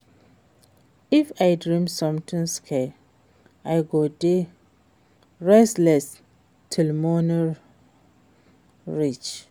If I dream something scary, I go dey restless till morning reach.